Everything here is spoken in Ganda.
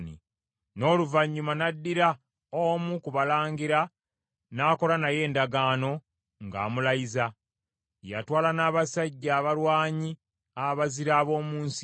N’oluvannyuma n’addira omu ku balangira n’akola naye endagaano, ng’amulayiza. Yatwala n’abasajja abalwanyi abazira ab’omu nsi,